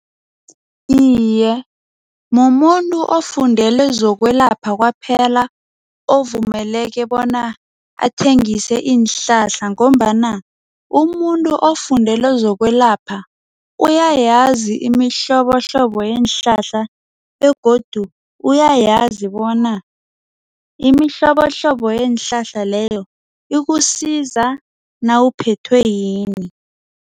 Iye, mumuntu ofundele zokwelapha kwaphela ovumeleke bona athengise iinhlahla ngombana umuntu ofundele zokwelapha uyayazi imihlobohlobo yeenhlahla begodu uyayazi bona imihlobohlobo yeenhlahla leyo ikusiza nawuphethwe yini.